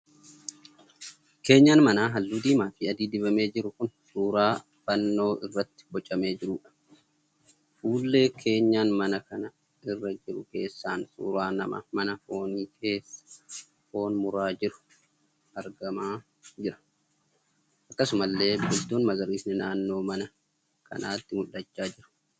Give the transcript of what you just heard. Keenyan manaa halluu diimaa fi adiin dibamee jiru kan suuraan fannoo irratti bocamee jiruudha. Fuullee keenyan manaa kana irra jiru keessaan suuraan nama mana foonii keessa foon muraa jiru argamaa jira. Akkasumallee biqiltuun magariisni naannoo mana kanaatti mul'achaa jiru.